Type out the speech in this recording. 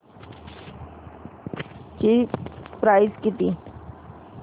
ची प्राइस किती